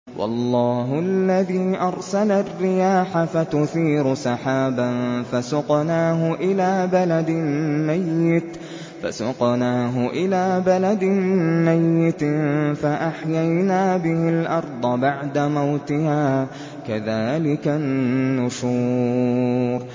وَاللَّهُ الَّذِي أَرْسَلَ الرِّيَاحَ فَتُثِيرُ سَحَابًا فَسُقْنَاهُ إِلَىٰ بَلَدٍ مَّيِّتٍ فَأَحْيَيْنَا بِهِ الْأَرْضَ بَعْدَ مَوْتِهَا ۚ كَذَٰلِكَ النُّشُورُ